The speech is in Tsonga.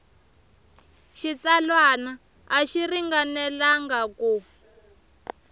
xitsalwana a xi ringanelangi ku